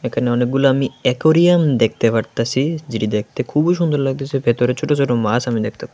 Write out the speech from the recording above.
এখানে অনেকগুলো আমি একরিয়াম দেখতে পারতাছি যেটি দেখতে খুবই সুন্দর লাগতাছে ভেতরে ছোট ছোট মাছ আমি দেখতে--